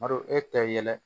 Marɔ e tɛ yɛlɛ